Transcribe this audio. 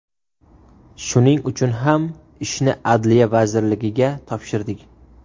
Shuning uchun ham, ishni Adliya vazirligiga topshirdik.